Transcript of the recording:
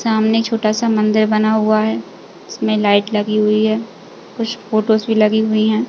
सामने छोटा-सा मंदिर बना हुआ है। उसमे लाइट लगी हुई है। कुछ फ़ोटोज़ भी लगी हुई है।